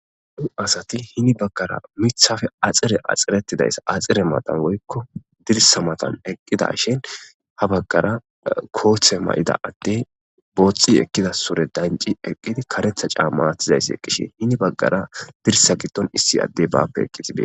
Nu asati hini baggara mithafe axire axxiretidayssa axire matan woykko dirsa matan eqqidashin ha baggara kooththe ma'ida adde boothxi ekkida sure danci eqqidi karetha caammaatizayss eqqishin hini baggara dirsa gitton issi adde baappe eqqitibie